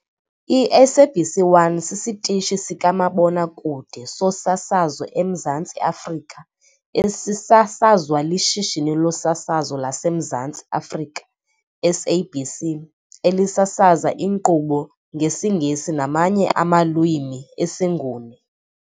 I-SABC 1 sisitishi sikamabona-kude sosasazo eMzantsi Afrika esisasazwa liShishini loSasazo laseMzantsi Afrika, SABC, elisasaza inkqubo ngesiNgesi namanye amalwimi esiNguni.